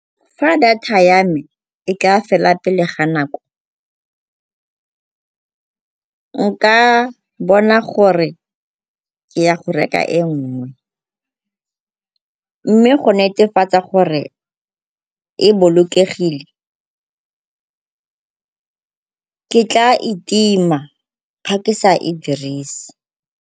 Fa data ya me e ka fela pele ga nako, nka bona gore ke ya go reka e nngwe, mme go netefatsa gore e bolokegile, ke tla e tima ga ke sa e dirise.